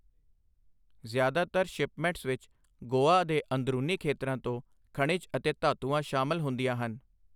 ਜ਼ਿਆਦਾਤਰ ਸ਼ਿਪਮੈਂਟਸ ਵਿੱਚ ਗੋਆ ਦੇ ਅੰਦਰੂਨੀ ਖੇਤਰਾਂ ਤੋਂ ਖਣਿਜ ਅਤੇ ਧਾਤੂਆਂ ਸ਼ਾਮਲ ਹੁੰਦੀਆਂ ਹਨ।